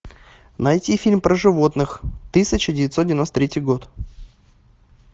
найти фильм про животных тысяча девятьсот девяносто третий год